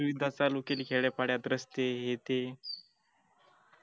सुविधा चालु केलय खेड्यात पाड्यात रस्ते हे ते